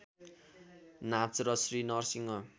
नाच र श्री नरसिंह